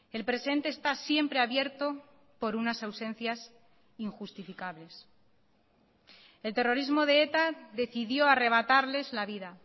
el presente está siempre abierto por unas ausencias injustificables el terrorismo de eta decidió arrebatarles la vida